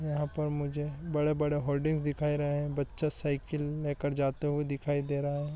यहाँ पर मुझे बड़े-बड़े होल्डिंग्स दिखाई रहें हैंबच्चा साइकिल ले कर जाता हुआ दिखाई दे रहा है।